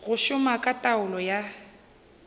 go šoma ka taolo ya